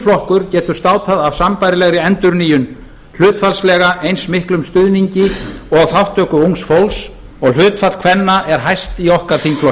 flokkur getur státað af sambærilegri endurnýjun hlutfallslega eins miklum stuðningi og þátttöku ungs fólks og hlutfall kvenna er hæst í okkar þingflokki